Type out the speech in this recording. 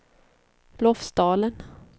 Lofsdalen